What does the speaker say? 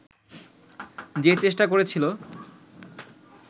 যে চেষ্টা করেছিল